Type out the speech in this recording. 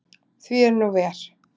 Því er nú ver.